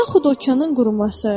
Yaxud okeanın quruması.